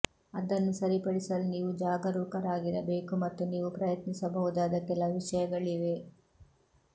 ಅದನ್ನು ಸರಿಪಡಿಸಲು ನೀವು ಜಾಗರೂಕರಾಗಿರಬೇಕು ಮತ್ತು ನೀವು ಪ್ರಯತ್ನಿಸಬಹುದಾದ ಕೆಲವು ವಿಷಯಗಳಿವೆ